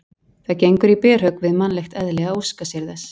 Það gengur í berhögg við mannlegt eðli að óska sér þess.